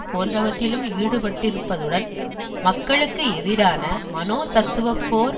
போன்றவற்றிலும் ஈடுபட்டிருப்பதுடன் மக்களுக்கு எதிரான மனோத்தத்துவப் போர்